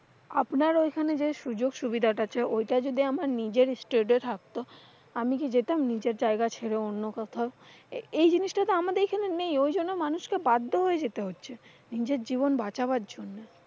আপনার ওইখানে যেই সুযোগ সুবিধাটা আছে ওইটা দিতে আমার নিজের state থাকতো। আমি কি যেতাম নিজের জায়গা ছেড়ে অন্য কোথাও? এই জিনিসটা তো আমাদের এখানে নেই ঐ জন্য মানুষকে বাধ্য হয়ে ওখানে যেতে হচ্ছে। নিজের জীবন বাচাবার জন্য।